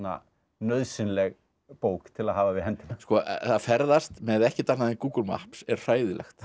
nauðsynleg bók til að hafa við hendina að ferðast með ekkert annað en Google Maps er hræðilegt það